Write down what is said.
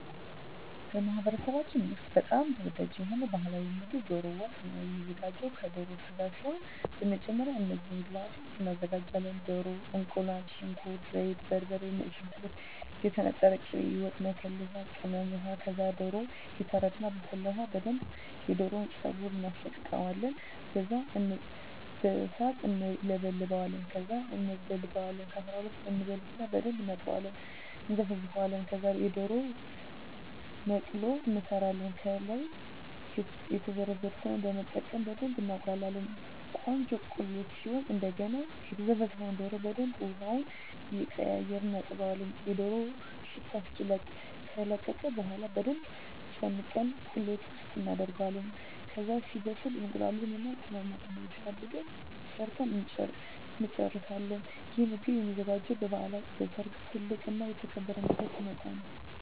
በማኅበረሰባችን ውስጥ በጣም ተወዳጅ የሆነው ባሕላዊ ምግብ ደሮ ወጥ ነው የሚዘጋው ከደሮ ስጋ ሲሆን በመጀመሪያ እነዚህን ግብአቶች እናዘጋጃለን። ደሮ፣ እቁላል፣ ሽንኩርት፣ ዘይት፣ በርበሬ፣ ነጭ ሽንኩርት፣ የተነጠረ ቅቤ፣ የወጥ መከለሻ ቅመም፣ ውሃ ከዛ ደሮው ይታረድና በፈላ ውሀ በደንብ የደሮውን ፀጉር እናስለቅቀውና በሣት እንለበልበዋለን። ከዛ እንበልተዋለን ከ12 እበልትና በደንብ እናጥብና እና እነዘፈዝፈዋለን። ከዛ የደሮ መቅሎ እንሠራለን። ከላይ የዘረዘርነውን በመጠቀም በደብ እናቁላላዋለን ቆንጆ ቁሌት ሲሆን እደገና የዘፈዘፍነውን ደሮ በደንብ ውሀውን እየቀያየርን እናጥበዋለን የደሮው ሽታ እስኪለቅ። ከለቀቀ በኋላ በደንብ ጨምቀን ቁሌት ውስጥ እናደርገዋለን። ከዛ ሲበስል እቁላሉን እና ቅመማቅመሙን አድርገን ሠርተን እንጨርሣለን። ይህ ምግብ የሚዘጋጀው በበዓላት፣ በሠርግ፣ ትልቅ እና የተከበረ እንግዳ ሲመጣ።